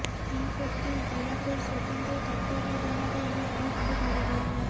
P Pratyush Diwakar ସ୍ୱତନ୍ତ୍ର ତତ୍ତା୍ୱବଧାନରେ ଏହି ଗ୍ରୁପ୍ କୁ ଧରିବା